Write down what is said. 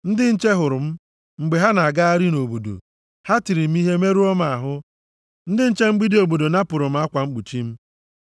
Ndị nche hụrụ m mgbe ha na-agagharị nʼobodo, + 5:7 \+xt Abk 3:3\+xt* ha tiri m ihe merụọ m ahụ. Ndị nche mgbidi obodo napụrụ m akwa mkpuchi m.